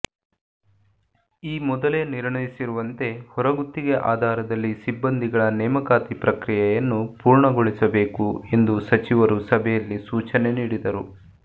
ಈ ಮೊದಲೇ ನಿರ್ಣಯಿಸಿರುವಂತೆ ಹೊರಗುತ್ತಿಗೆ ಆಧಾರದಲ್ಲಿ ಸಿಬ್ಬಂದಿಗಳ ನೇಮಕಾತಿ ಪ್ರಕ್ರಿಯೆಯನ್ನು ಪೂರ್ಣಗೊಳಿಸಬೇಕು ಎಂದು ಸಚಿವರು ಸಭೆಯಲ್ಲಿ ಸೂಚನೆ ನೀಡಿದರು